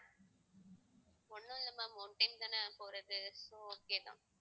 ஒண்ணும் இல்ல ma'am one time தானே போறது so okay தான்